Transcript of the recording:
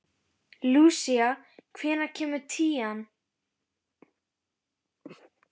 Lúsía, hvenær kemur tían?